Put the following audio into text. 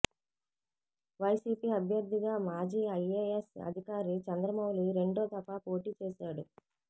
YCP అభ్యర్ధిగా మాజీ IAS అధికారి చంద్రమౌళి రెండో దఫా పోటీ చేశాడు